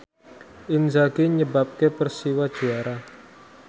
Inzaghi nyebabke Persiwa juara